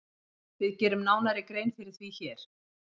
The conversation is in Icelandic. Við gerum nánari grein fyrir því hér.